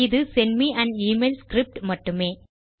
இது sent may on email script மட்டுமே